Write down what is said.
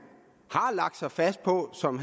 har lagt sig fast på som